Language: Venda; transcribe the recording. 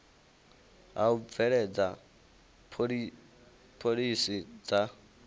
ha u bveledza phoḽisi dza